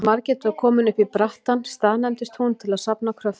Þegar Margrét var komin upp í brattann staðnæmdist hún til að safna kröftum.